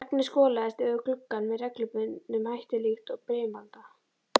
Regnið skolaðist yfir gluggann með reglubundnum hætti líkt og brimalda.